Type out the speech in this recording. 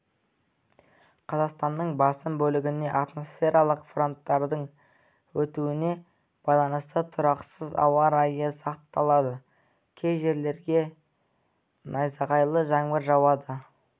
қазақстанның басым бөлігінде атмосфералық фронттардың өтуіне байланысты тұрақсыз ауа райы сақталады кей жерлерде найзағайлы жаңбыр жауады